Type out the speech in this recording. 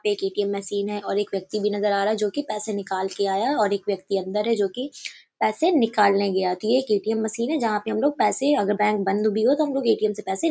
ये एक ATM. Machine है और एक व्यक्ति भी नज़र आ रहा है जो कि पैसे निकाल के आया है और एक व्यक्ति अन्दर है जो कि पैसे निकालने गया है तो ये एक ए.टी.एम्. मशीन है जहाँ पे अगर बैंक बंद भी तो हमलोग ए.टी.एम्. से पैसे --